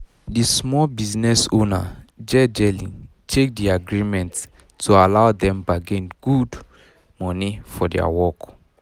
the small business owner jejely check the agreement to allow dem bargain good money for dia work